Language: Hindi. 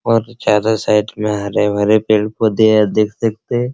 चारों साइड में हरे-भरे पेड़-पौधे हैं देख सकते हैं।